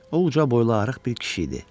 O uca boylu arıq bir kişi idi.